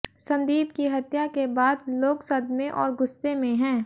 संदीप की हत्या के बाद लोग सदमे और गुस्से में हैं